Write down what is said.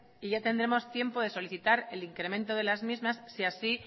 y ya tendremos tiempo de solicitar el incremento de las mismas si así